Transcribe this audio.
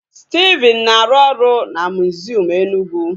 Stephen na-arụ ọrụ na miziọm Enugwu